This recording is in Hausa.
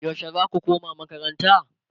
yaushe zaku koma makaranta?